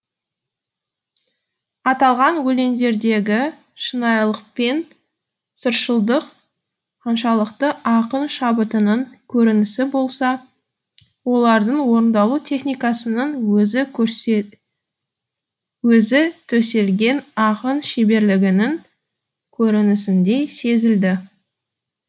аталған өлеңдердегі шынайылық пен сыршылдық қаншалықты ақын шабытының көрінісі болса олардың орындалу техникасының өзі төселген ақын шеберлігінің көрінісіндей сезілді